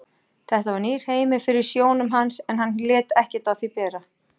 Þetta var nýr heimur fyrir sjónum hans en hann lét ekkert á því bera.